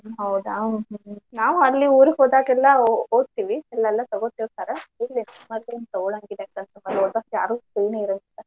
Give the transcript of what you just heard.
ಹೌದಾ? ನಾವು ಅಲ್ಲಿ ಊರಿಗೆ ಹೋದಾಗೆಲ್ಲಾ ಓದ್ತಿವಿ ಅಲ್ಲೆಲ್ಲಾ ತಗೋತೀರ್ತಾರ ಇಲ್ಲೇ ಮಾತ್ರ ತಗೊಳಂಗಿಲ್ಲಾ ಯಾಕಂದ್ರ ಓದಾಕ್ ಯಾರು free ನೇ ಇರಾಂಗಿಲ್ಲಾ.